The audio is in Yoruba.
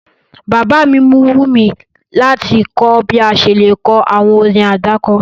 Bàbá mi mu wùmí láti kọ bi a ṣe le ko àwọn orin àdáko